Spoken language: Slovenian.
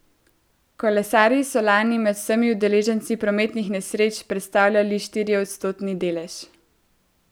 Kolesarji so lani med vsemi udeleženci prometnih nesreč predstavljali štiriodstotni delež.